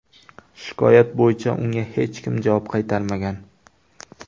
Shikoyat bo‘yicha unga hech kim javob qaytarmagan.